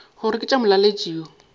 gore ke tša molaletši yo